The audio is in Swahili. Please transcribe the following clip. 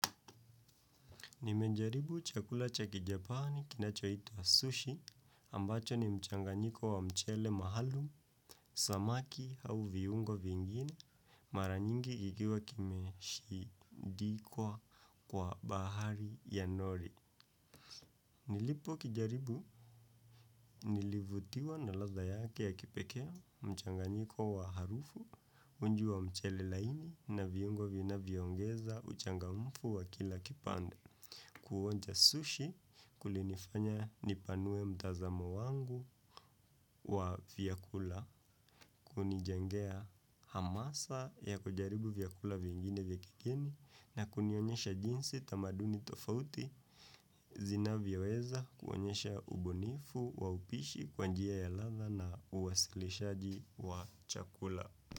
Nimejaribu chakula cha kijapani kinachoitwa sushi ambacho ni mchanganyiko wa mchele mahalum, samaki au viungo vingine maranyingi igiwa kimeshidikwa kwa bahari ya nori. Nilipo kijaribu nilivutiwa na ladha yake ya kipekee mchanganyiko wa harufu unji wa mchele laini na viungo vinavyongeza uchangamufu wa kila kipande. Kuonja sushi kulinifanya nipanue mtazamo wangu kwa vyakula kunijengea hamasa ya kujaribu vyakula vingine vya kigeni na kunionyesha jinsi tamaduni tofauti zinavyoweza kuonyesha ubunifu wa upishi kwa njia ya ladha na uwasilishaji wa chakula.